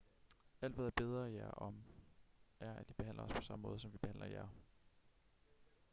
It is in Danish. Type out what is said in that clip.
alt hvad jeg beder jer om er at i behandler os på samme måde som vi behandler jer